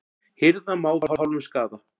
Hirða má við hálfum skaða.